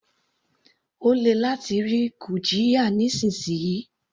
Ó lè láti rí gurjiya nísìnsisìyí.